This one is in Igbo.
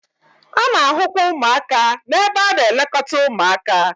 A na-ahụkwa ụmụaka n'ebe a na-elekọta ụmụaka